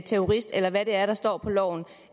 terrorist eller hvad det er der står på loven